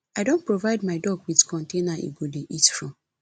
i don provide my dog with container d go dey eat from